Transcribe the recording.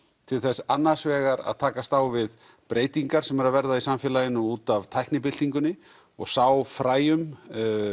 til þess annars vegar að takast á við breytingar sem eru að verða í samfélaginu út af tæknibyltingunni og sá fræjum